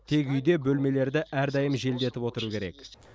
тек үйде бөлмелерді әрдайым желдетіп отыру керек